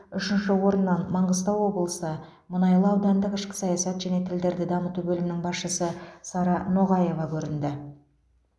үшінші орыннан маңғыстау облысы мұнайлы аудандық ішкі саясат және тілдерді дамыту бөлімінің басшысы сара ноғаева көрінді